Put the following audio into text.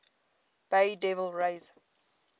bay devil rays